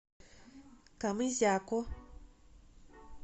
камызяку